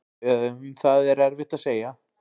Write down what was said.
Um það er erfitt að segja.